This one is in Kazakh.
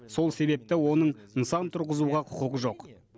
сол себепті оның нысан тұрғызуға құқығы жоқ